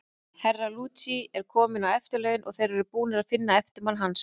Herra Luigi er kominn á eftirlaun, og þeir eru búnir að finna eftirmann hans.